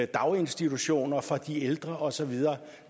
daginstitutioner for de ældre og så videre